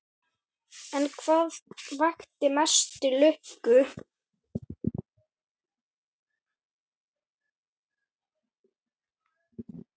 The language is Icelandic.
En hvað vakti mesta lukku?